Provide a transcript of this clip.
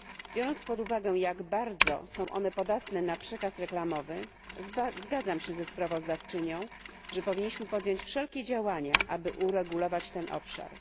Biorąc pod uwagę, jak bardzo są one podatne na przekaz reklamowy, zgadzam się ze sprawozdawczynią, że powinniśmy podjąć wszelkie działania, aby uregulować ten obszar.